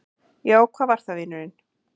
Já, hvað var það, vinurinn?